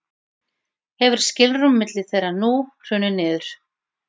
hefur skilrúm milli þeirra nú hrunið niður